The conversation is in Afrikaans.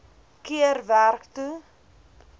keer werk toe